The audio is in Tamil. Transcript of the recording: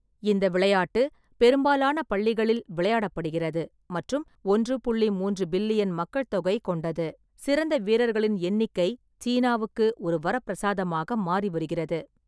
இந்த விளையாட்டு பெரும்பாலான பள்ளிகளில் விளையாடப்படுகிறது மற்றும் ஒன்று புள்ளி மூன்று பில்லியன் மக்கள்தொகை கொண்டது; சிறந்த வீரர்களின் எண்ணிக்கை சீனாவுக்கு ஒரு வரப்பிரசாதமாக மாறி வருகிறது.